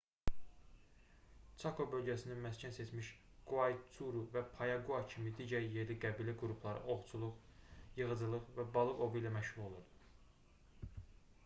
çako bölgəsini məskən seçmiş quaycuru və payaqua kimi digər yerli qəbilə qrupları ovçuluq yığıcılıq və balıq ovu ilə məşğul olurdu